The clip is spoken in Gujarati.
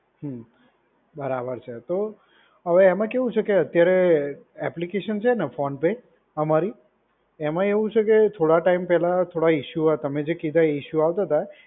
હમ્મ. બરાબર છે. તો હવે એમાં એવું છે કે અત્યારે એપ્લિકેશન છે ને ફોન પે અમારી એમાં એવું છે કે થોડા ટાઈમ પહેલા થોડા ઇસ્યુ હતા. તમે જે કીધા એ ઇશ્યૂ આવતા હતા.